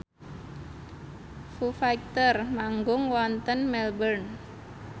Foo Fighter manggung wonten Melbourne